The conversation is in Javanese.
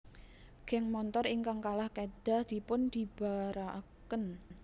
Geng montor ingkang kalah kedah dipun bibaraken